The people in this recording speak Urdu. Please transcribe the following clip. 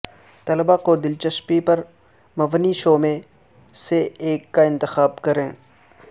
طلباء کو دلچسپی پر مبنی شو میں سے ایک کا انتخاب کریں